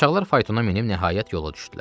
Qaçaqlar faytona minib, nəhayət yola düşdülər.